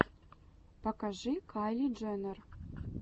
покажи кайли дженнер